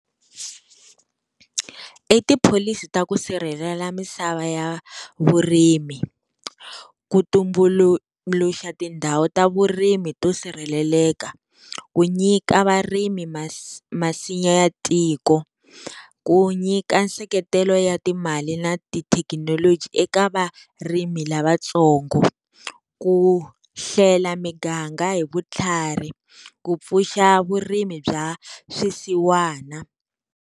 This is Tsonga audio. I tipholisi ta ku sirhelela misava ya vurimi, ku tumbuluxa tindhawu ta vurimi to sirheleleka ku nyika varimi masinya ya tiko ku nyika nseketelo ya timali na tithekinoloji eka varimi lavatsongo, ku hlela miganga hi vutlhari, ku pfuxa vurimi bya swisiwana.